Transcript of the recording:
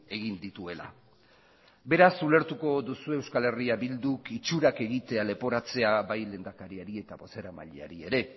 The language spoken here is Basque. egin dituela beraz ulertuko duzue eh bilduk itxurak egitea leporatzea bai lehendakariari eta baita bozeramaileari ere